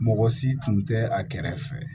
Mɔgɔ si tun tɛ a kɛrɛ fɛ